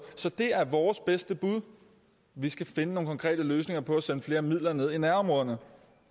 så det er vores bedste bud vi skal finde nogle konkrete løsninger på at sende flere midler ned til nærområderne